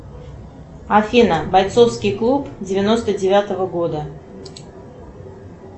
афина бойцовский клуб девяносто девятого года